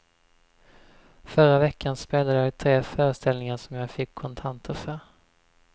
Förra veckan spelade jag tre föreställningar som jag fick kontanter för.